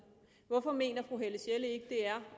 hvorfor mener fru helle sjelle ikke at det er